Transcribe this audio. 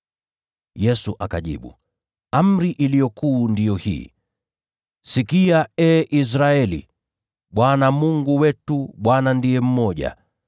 Yesu akajibu, “Amri iliyo kuu ndiyo hii: ‘Sikia ee Israeli. Bwana Mungu wetu, Bwana ndiye mmoja.